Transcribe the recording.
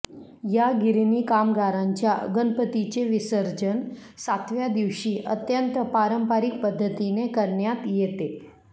या गिरणी कामगारांच्या गणपतीचे विसर्जन सातव्या दिवशी अत्यंत पारंपरिक पद्धतीने करण्यात येते